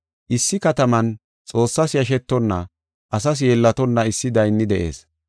“Issi kataman Xoossas yashetonna, asas yeellatonna issi daynni de7ees